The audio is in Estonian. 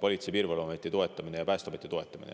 Politsei- ja Piirivalveameti toetamine, samuti Päästeameti toetamine.